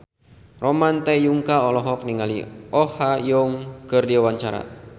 Ramon T. Yungka olohok ningali Oh Ha Young keur diwawancara